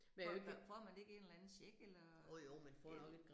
Får får man ikke en eller anden check eller, ja